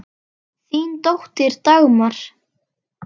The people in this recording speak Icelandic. Þín dóttir, Dagmar.